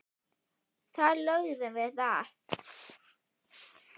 Þar lögðum við að.